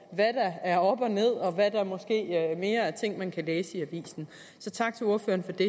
hvad der er op og ned og hvad der måske mere er ting man kan læse i avisen så tak til ordføreren for det